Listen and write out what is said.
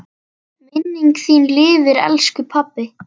Minning þín lifir, elsku pabbi.